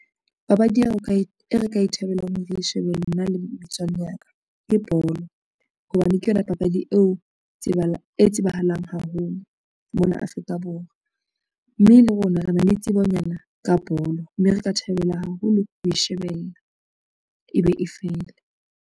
Papadi e re ka e thabelang hore re shebelle nna le metswalle ya ka ke bolo, hobane ke yona papadi e tsebahalang haholo mona Afrika Borwa, mme le rona re na le tsebonyana ka bolo, mme re ka thabela haholo ho e shebella ebe e fele.